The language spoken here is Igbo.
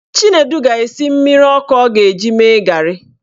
Chinedu ga-esi mmiri ọkụ ọ ga-eji mee garị